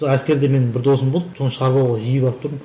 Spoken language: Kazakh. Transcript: әскерде менің бір досым болды соны шығарып алуға жиі барып тұрдым